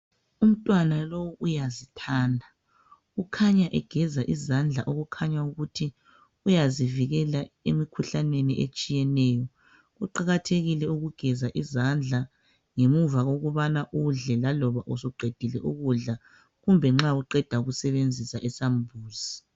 Umntwana lo uyazithanda. Ukhanya egeza izandla okukhanya ukuthi uyazivekela emkhuhlaneni etshiyeneyo. Kuqakathekile ukugeza izandla ngemuva kokubana udle laloba usuqedile ukudla kumba nxa uqeda ukusebenzisa isambuzi.